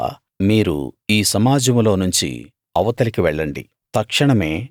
అప్పుడు యెహోవా మీరు ఈ సమాజంలోనుంచి అవతలికి వెళ్ళండి